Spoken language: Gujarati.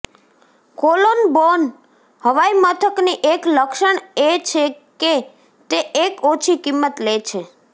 કોલોન બોન હવાઈમથકની એક લક્ષણ એ છે કે તે એક ઓછી કિંમત લે છે